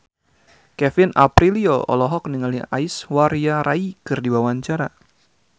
Kevin Aprilio olohok ningali Aishwarya Rai keur diwawancara